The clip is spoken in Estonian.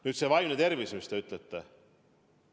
Nüüd see vaimne tervis, mille kohta te küsite.